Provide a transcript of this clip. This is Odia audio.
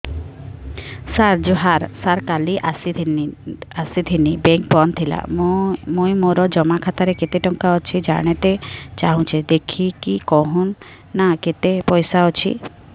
ସାର ଜୁହାର ସାର କାଲ ଆସିଥିନି ବେଙ୍କ ବନ୍ଦ ଥିଲା ମୁଇଁ ମୋର ଜମା ଖାତାରେ କେତେ ଟଙ୍କା ଅଛି ଜାଣତେ ଚାହୁଁଛେ ଦେଖିକି କହୁନ ନା କେତ ପଇସା ଅଛି